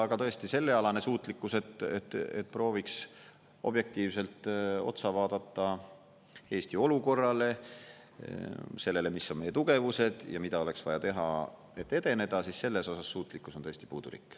Aga tõesti, sellealane suutlikkus, et prooviks objektiivselt otsa vaadata Eesti olukorrale ja sellele, mis on meie tugevused ja mida oleks vaja teha, et edeneda, selles osas suutlikkus on tõesti puudulik.